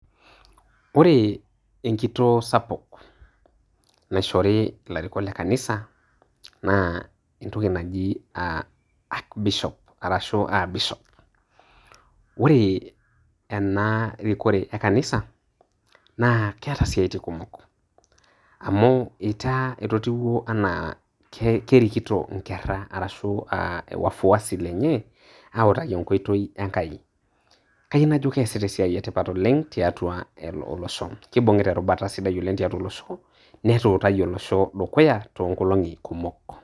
Ore enkitoo sapuk naishori ilarikok le kanisa naa entoki naji aa arch Bishop ashuu Bishop ore ena rikore ekanisa naa keeta siatin kumok amu ietaa etotiwuo enaa kerikito inkera arashuu wafuasi lenye ooutaki enkoitoi Enkai kayieu najo kiasita esia sidai tiatua olosho kibung'ita erubata sidai oleng tiatua olosho neetuutayie olosho dukuya toonkolong'i kumok.